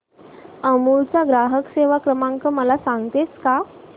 अमूल चा ग्राहक सेवा क्रमांक मला सांगतेस का